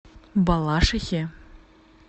балашихе